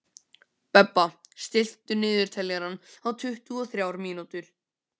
Bebba, stilltu niðurteljara á tuttugu og þrjár mínútur.